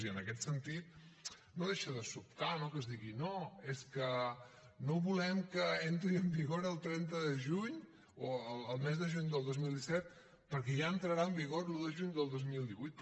i en aquest sentit no deixa de sobtar no que es digui no és que no volem que entri en vigor el trenta de juny o el mes de juny del dos mil disset perquè ja entrarà en vigor l’un de juny del dos mil divuit